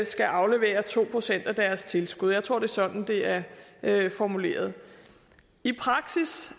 skal aflevere to procent af deres tilskud jeg tror det er sådan det er er formuleret i praksis